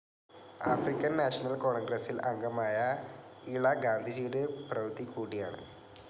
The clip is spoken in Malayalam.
ആഫ്രിക്കൻ നാഷണൽ കോൺഗ്രസ്സിൽ അംഗമായ ഇള ഗാന്ധിജിയുടെ പൌത്രി കൂടിയാണ്.